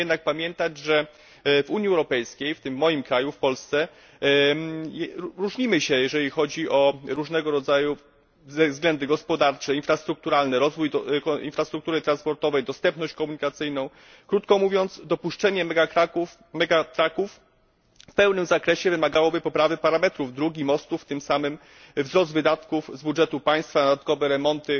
Musimy jednak pamiętać, że w Unii Europejskiej, w tym moim kraju, w Polsce, różnimy się jeśli chodzi o różnego rodzaju względy gospodarcze, infrastrukturalne, rozwój infrastruktury transportowej, dostępność komunikacyjną, krótko mówiąc dopuszczenie megatrucków w pełnym zakresie wymagałoby poprawy parametrów dróg i mostów, a tym samym wzrostu wydatków z budżetu państwa na dodatkowe remonty